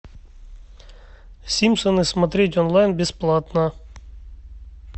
симпсоны смотреть онлайн бесплатно